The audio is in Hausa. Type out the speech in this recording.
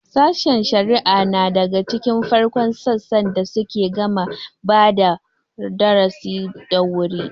Sashen shari'a nal daga cikin farkon sassan da suke gama badap darasi da wuri.